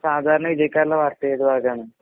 സാധാരണ